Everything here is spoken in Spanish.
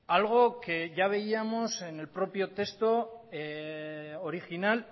algo que ya veíamos en el propio texto original